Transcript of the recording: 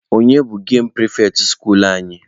Onye bụ gemụ pịrịfetị skuulu anyị?